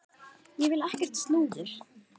Ég vil ekkert slúður.